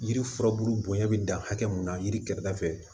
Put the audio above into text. Yiri furabulu bonya bɛ dan hakɛ mun na yiri kɛrɛda fɛ